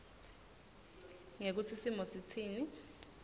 ngekutsi simo sitsini